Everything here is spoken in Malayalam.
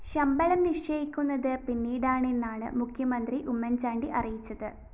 ശമ്പളം നിശ്ചയിക്കുന്നത് പിന്നീടാണെന്നാണ് മുഖ്യന്ത്രി ഉമ്മന്‍ചാണ്ടി അറിയിച്ചത്